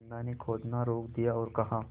बिन्दा ने खोदना रोक दिया और कहा